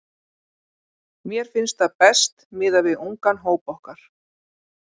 Mér finnst það best miðað við ungan hóp okkar.